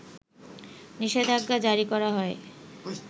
নিষেধাজ্ঞা জারি করা হয়